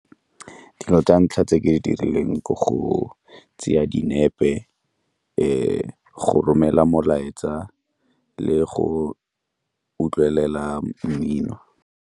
Dilo tsa ntlha tse ke di dirileng ke go tseya dinepe, go romela molaetsa le go utlwelela mmino.